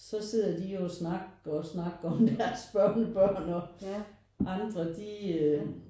Så sidder de jo og snakker og snakker om deres børnebørn og andre de